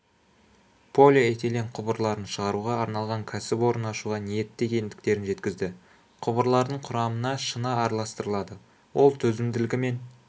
полиэтилен құбырларын шығаруға арналған кәсіпорын ашуға ниетті екендіктерін жеткізді құбырлардың құрамына шыны араластырылады ол төзімділігімен